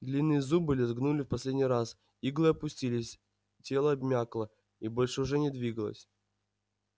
длинные зубы лязгнули в последний раз иглы опустились тело обмякло и больше уже не двигалось